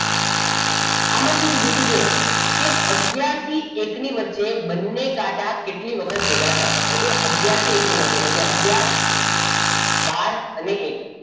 આમાં શું કીધું છે જુઓ કે આગયાર થી એકની વચ્ચે બંને કાંટા કેટલી વખત ભેગા થાય okay આગયાર થી એક ની વચ્ચે એટલે કે આગયાર બાર અને એક